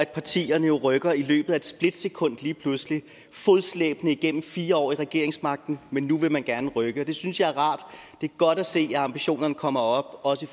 partierne rykker i løbet af et splitsekund lige pludselig man fodslæbende igennem fire år i regeringsmagten men nu vil man gerne rykke og det synes jeg er rart det er godt at se at ambitionerne kommer op også i